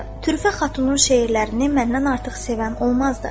Türfə xatunun şeirlərini məndən artıq sevən olmazdı.